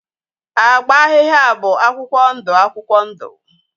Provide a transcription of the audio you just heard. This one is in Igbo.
Agba ahịhịa bụ akwụkwọ ndụ akwụkwọ ndụ